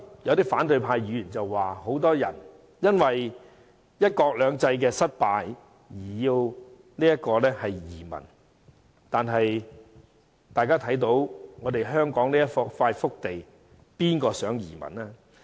有反對派議員剛才說很多人因為"一國兩制"失敗而移民，但大家看到香港這塊福地，誰會想移民呢？